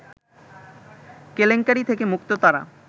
কেলেঙ্কারি থেকে মুক্ত তারা